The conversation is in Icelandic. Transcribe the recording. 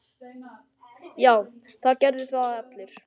Já, það gerðu það allir.